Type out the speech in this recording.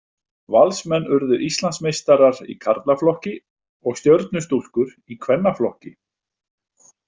Valsmenn urðu Íslandsmeistarar í karlaflokki og Stjörnustúlkur í kvennaflokki.